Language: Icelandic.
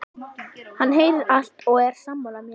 Hann heyrir allt og er sammála mér.